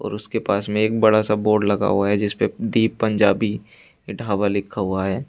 और उसके पास में एक बड़ा सा बोर्ड लगा हुआ है जिसपे दीप पंजाबी ढाबा लिखा हुआ है।